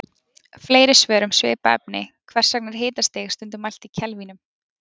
Fleiri svör um svipað efni Hvers vegna er hitastig stundum mælt í kelvínum?